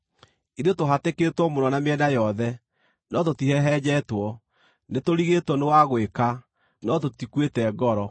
Ithuĩ tũhatĩkĩtwo mũno na mĩena yothe, no tũtihehenjetwo; nĩtũrigĩtwo nĩ wa gwĩka, no tũtikuĩte ngoro;